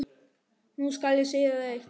Nú skal ég segja þér eitt.